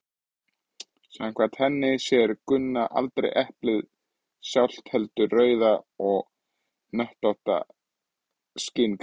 samkvæmt henni sér gunna aldrei eplið sjálft heldur rauða og hnöttótta skynreynd